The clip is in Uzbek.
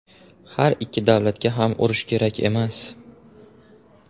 Har ikki davlatga ham urush kerak emas.